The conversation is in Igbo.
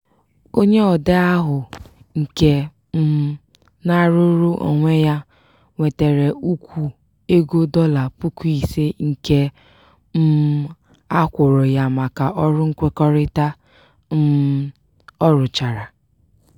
onye odee ahụ nke um na-arụrụ onwe ya nwetara ukwu ego dọla puku ise nke um a kwụrụ ya maka ọrụ nkwekọrịta um ọ rụchara.